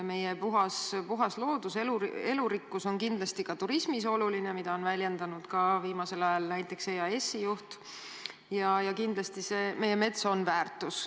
Meie puhas loodus ja elurikkus on tähtis ka turismis, nagu on väljendanud viimasel ajal näiteks EAS-i juht, ja kindlasti on meie mets omaette väärtus.